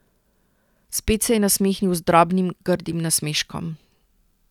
Spet se je nasmehnil z drobnim, grdim nasmeškom.